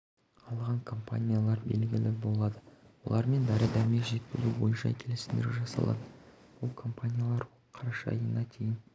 алған компаниялар белгілі болады олармен дәрі-дәрмек жеткізу бойынша келісімдер жасалады бұл компаниялар қараша айына дейін